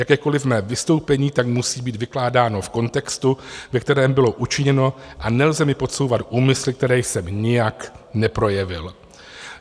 Jakékoliv mé vystoupení tak musí být vykládáno v kontextu, ve kterém bylo učiněno, a nelze mi podsouvat úmysly, které jsem nijak neprojevil.